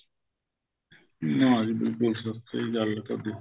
ਹਾਂ ਜੀ ਬਿਲਕੁਲ ਸਹੀ ਗੱਲ ਏ ਤੁਹਾਡੀ